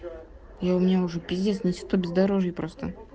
и у меня уже пиздец на тито бездорожье просто